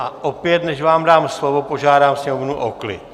A opět, než vám dám slovo, požádám sněmovnu o klid!